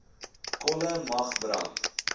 kolle mag brand